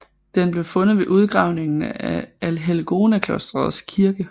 Den blev fundet ved udgravningen af Allhelgonaklostrets kirke